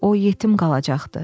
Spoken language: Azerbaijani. O yetim qalacaqdı.